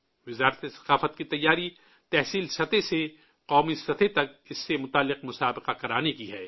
وزارت ثقافت کی تیاری تحصیل سطح سے قومی سطح تک اس سے جڑے مقابلے کرانے کی ہے